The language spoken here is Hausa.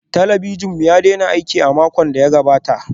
Talabijin namu ya daina aiki a makon da ya gabata